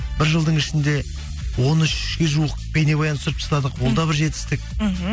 бір жылдың ішінде он үшке жуық бейнебаян түсіріп тастадық ол да бір жетістік мхм